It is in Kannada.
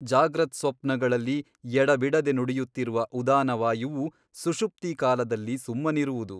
ಜಾಗ್ರತ್ಸ್ವಪ್ನಗಳಲ್ಲಿ ಎಡಬಿಡದೆ ನುಡಿಯುತ್ತಿರುವ ಉದಾನವಾಯುವು ಸುಷುಪ್ತಿಕಾಲದಲ್ಲಿ ಸುಮ್ಮನಿರುವುದು.